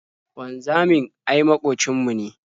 Wanzamin ai maƙocin mu ne.